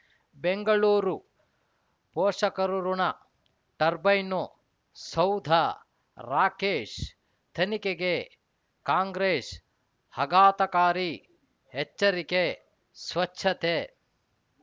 ಬೆಂಗಳೂರು ಪೋಷಕರಋಣ ಟರ್ಬೈನು ಸೌಧ ರಾಕೇಶ್ ತನಿಖೆಗೆ ಕಾಂಗ್ರೆಸ್ ಆಘಾತಕಾರಿ ಎಚ್ಚರಿಕೆ ಸ್ವಚ್ಛತೆ